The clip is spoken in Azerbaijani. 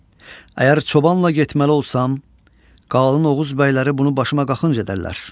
Əgər çobanla getməli olsam, qalın Oğuz bəyləri bunu başıma qaxınc edərlər.